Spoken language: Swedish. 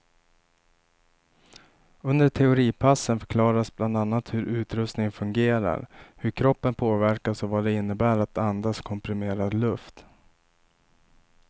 Under teoripassen förklaras bland annat hur utrustningen fungerar, hur kroppen påverkas och vad det innebär att andas komprimerad luft.